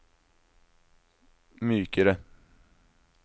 mykere